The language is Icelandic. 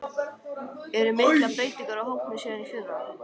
Eru miklar breytingar á hópnum síðan í fyrra?